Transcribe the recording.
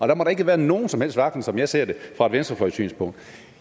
der må da ikke være nogen som helst vaklen som jeg ser det fra et venstrefløjssynspunkt